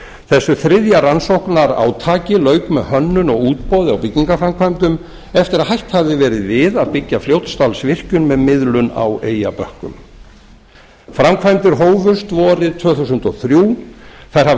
þessu þriðja rannsóknarátaki lauk með hönnun og útboði á byggingarframkvæmdum eftir að hætt hafði verið við að byggja fljótsdalsvirkjun með miðlun á eyjabökkum framkvæmdir hófust vorið tvö þúsund og þrjár þær hafa í